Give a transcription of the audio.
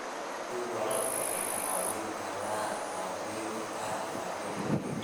Beeraha waara waxay kaa caawin karaan baabi'inta gaajada adduunka.